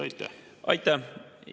Aitäh!